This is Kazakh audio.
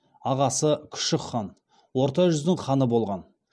ағасы күшік хан орта жүздің ханы болған